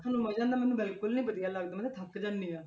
ਤੈਨੂੰ ਮਜ਼ਾ ਆਉਂਦਾ ਮੈਨੂੰ ਬਿਲਕੁਲ ਨੀ ਵਧੀਆ ਲੱਗਦਾ, ਮੈਂ ਤਾਂ ਥੱਕ ਜਾਂਦੀ ਹਾਂ।